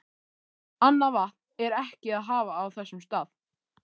Annað vatn er ekki að hafa á þessum stað.